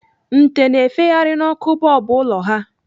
Nte na-efegharị n'ọkụ bọlbụ ụlọ ha.